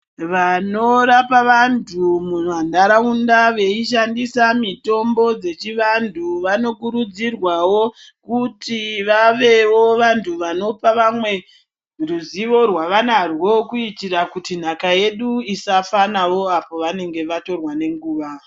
Vanorapa vantu mumantaraunda veishandisa mitombo dzechivantu vanokurudzirwawo kuti vavewo vantu vanopa vamwe ruzivo rwavanarwo kuitira kuti nhaka yedu isafa navo apo vanenge vatorwa nenguva.